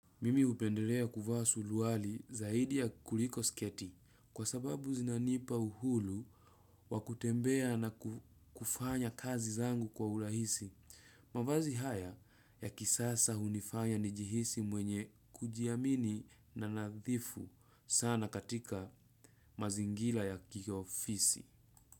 Mimi upenderea kuvaa suluali zaidi ya kuriko sketi. Kwa sababu zinanipa uhulu wakutembea na kufanya kazi zangu kwa urahisi. Mavazi haya ya kisasa hunifanya nijihisi mwenye kujiamini na nadhifu sana katika mazingila ya kiiofisi.